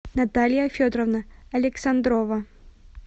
наталья федоровна александрова